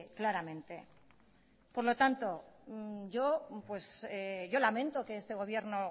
claramente por lo tanto yo lamento que este gobierno